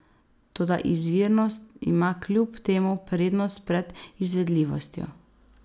Toda izvirnost ima kljub temu prednost pred izvedljivostjo.